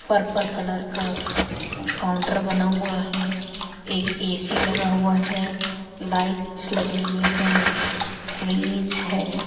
Purple colour का counter बना हुआ है एक ए_सी लगा हुआ है लाइट्स लगी हुई हैं फ्रिज हैं।